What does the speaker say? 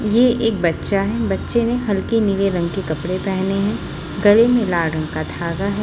ये एक बच्चा है। बच्चे ने हल्के नीले रंग के कपड़े पहने हैं। गले में लाल रंग का धागा है।